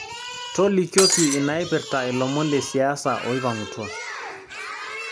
tolikioki inaipirta ilomon lesiasa oipang'utua